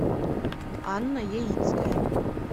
анна яицкая